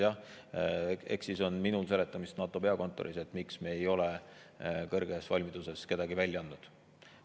Jah, eks siis on minul seletamist NATO peakontoris, miks me ei ole kõrges valmiduses kedagi välja andnud.